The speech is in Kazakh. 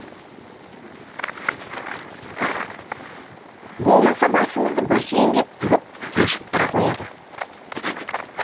болмаса басымызды бассейнге тығып тұншықтыра қояды